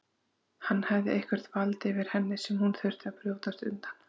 Hann hafði eitthvert vald yfir henni sem hún þurfti að brjótast undan.